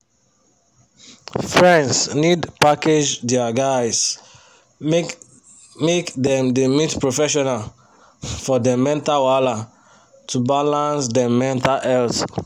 friends need package dia guys make make dem da meet professional for dem mental wahala to balance dem mental health